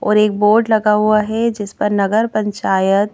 और एक बोर्ड लगा हुआ है जिस पर नगर पंचायत--